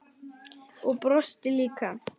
Og brosti líka.